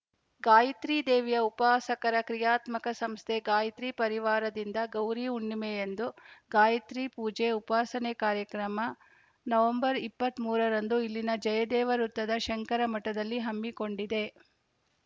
ಗಾಯತ್ರಿ ದೇವಿಯ ಉಪಾಸಕರ ಕ್ರಿಯಾತ್ಮಕ ಸಂಸ್ಥೆ ಗಾಯತ್ರಿ ಪರಿವಾರದಿಂದ ಗೌರಿ ಹುಣ್ಣಿಮೆಯಂದು ಗಾಯತ್ರಿ ಪೂಜೆ ಉಪಾಸನೆ ಕಾರ್ಯಕ್ರಮ ನವಂಬರ್ ಇಪ್ಪತ್ತ್ ಮೂರ ರಂದು ಇಲ್ಲಿನ ಜಯದೇವ ವೃತ್ತದ ಶಂಕರ ಮಠದಲ್ಲಿ ಹಮ್ಮಿಕೊಂಡಿದೆ